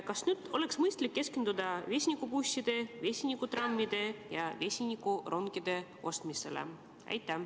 Kas nüüd oleks mõistlik keskenduda vesinikubusside, vesinikutrammide ja vesinikurongide ostmisele?